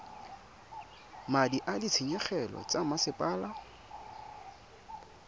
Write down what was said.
madi a ditshenyegelo tsa mosepele